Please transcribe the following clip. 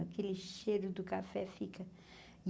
Aquele cheiro do café fica.